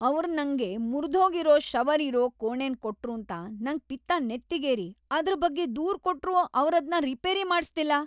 ಅವ್ರ್ ನಂಗೆ ಮುರ್ದ್ಹೋಗಿರೋ ಶವರ್ ಇರೋ ಕೋಣೆನ್ ಕೊಟ್ರೂಂತ ನಂಗ್‌ ಪಿತ್ತ ನೆತ್ತಿಗೇರಿ ಅದ್ರ್‌ ಬಗ್ಗೆ ದೂರ್‌ ಕೊಟ್ರೂ ಅವ್ರದ್ನ ರಿಪೇರಿ ಮಾಡಿಸ್ತಿಲ್ಲ.